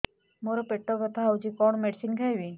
ମୋର ପେଟ ବ୍ୟଥା ହଉଚି କଣ ମେଡିସିନ ଖାଇବି